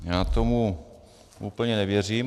Já tomu úplně nevěřím.